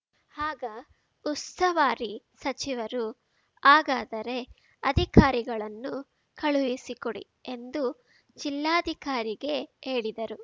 ಹಾಗ ಉಸ್ತುವಾರಿ ಸಚಿವರು ಹಾಗಾದರೆ ಅಧಿಕಾರಿಗಳನ್ನು ಕಳುಹಿಸಿ ಕೊಡಿ ಎಂದು ಜಿಲ್ಲಾಧಿಕಾರಿಗೆ ಹೇಳಿದರು